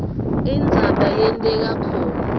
indzaba yenteka khona